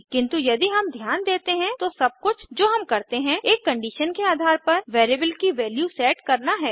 किन्तु यदि हम ध्यान देते हैं तो सब कुछ जो हम करते हैं एक कंडीशन के आधार पर वैरिएबल की वैल्यू सेट करना है